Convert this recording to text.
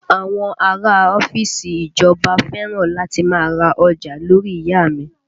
Àwọn ará a ọ́fíìsì ìjọba fẹ́ràn láti má a ra ọjà lórí ìyá a mi